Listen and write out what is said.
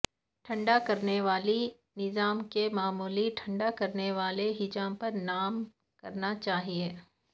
ٹھنڈا کرنے والی نظام کو معمولی ٹھنڈا کرنے والے حجم پر کام کرنا چاہئے